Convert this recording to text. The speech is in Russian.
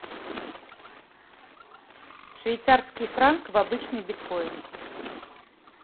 швейцарский франк в обычный биткоин